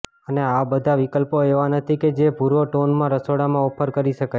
અને આ બધા વિકલ્પો એવા નથી કે જે ભુરો ટોનમાં રસોડામાં ઓફર કરી શકાય